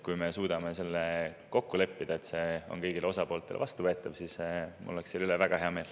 Kui me suudame kokku leppida, et see on kõigile osapooltele vastuvõetav, siis mul oleks selle üle väga hea meel.